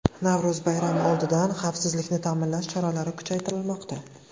Navro‘z bayrami oldidan xavfsizlikni ta’minlash choralari kuchaytirilmoqda.